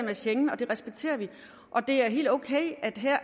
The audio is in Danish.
af schengen og det respekterer vi det er helt okay at der her